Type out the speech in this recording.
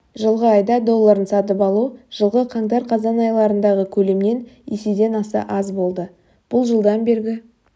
жылғы айда долларын сатып алу жылғы қаңтар-қазан айларындағы көлемнен еседен аса аз болды бұл жылдан бергі